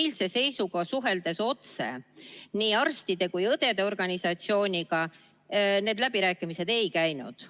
Eilse seisuga, suheldes otse nii arstide kui ka õdede organisatsiooniga, need läbirääkimised ei käinud.